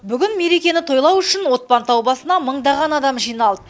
бүгін мерекені тойлау үшін отпантау басына мыңдаған адам жиналды